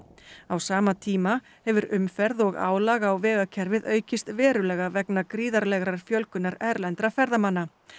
á sama tíma hefur umferð og álag á vegakerfið aukist verulega vegna gríðarlegrar fjölgunar erlendra ferðamanna